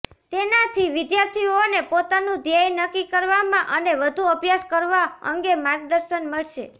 તેનાથી વિદ્યાર્થીઓને પોતાનું ધ્યેય નક્કી કરવામાં અને વધુ અભ્યાસ કરવા અંગે માર્ગદર્શન મળશે